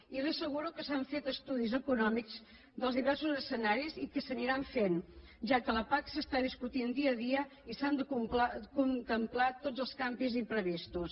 i li asseguro que s’han fet estudis econòmics dels diversos escenaris i que s’aniran fent ja que la pac s’està discutint dia a dia i s’han de contemplar tots els canvis imprevistos